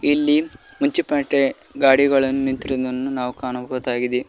ಇಲ್ಲಿ ಮುನ್ಸಿಪಾಲ್ಟಿ ಗಾಡಿಗಳನ್ನು ನಿಂತಿರುವುದನ್ನು ನಾವು ಕಾಣಬಹುದಾಗಿದೆ.